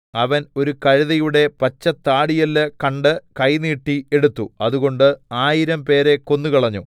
അവൻ ഒരു കഴുതയുടെ പച്ചത്താടിയെല്ല് കണ്ട് കൈ നീട്ടി എടുത്തു അതുകൊണ്ട് ആയിരംപേരെ കൊന്നുകളഞ്ഞു